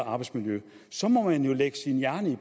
arbejdsmiljø så må man jo lægge sin hjerne i